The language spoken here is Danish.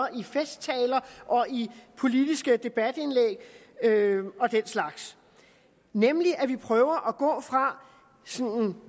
i festtaler og i politiske debatindlæg og den slags nemlig at vi prøver at gå fra